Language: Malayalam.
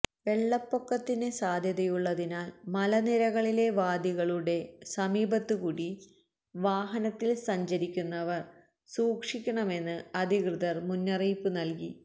വെള്ളപ്പൊക്കത്തിന് സാധ്യതയുള്ളതിനാല് മലനിരകളിലെ വാദികളുടെ സമീപത്തുകൂടി വാഹനത്തില് സഞ്ചരിക്കുന്നവര് സൂക്ഷിക്കണമെന്ന് അധികൃതര് മുന്നറിയിപ്പ് നല്കി